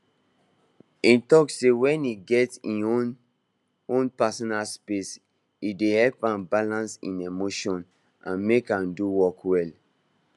e talk say when e get him own own personal space e dey help am balance him emotions and make am do work well